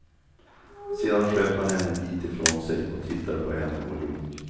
Sedan sköt han henne en bit ifrån sig och tittade på henne och log.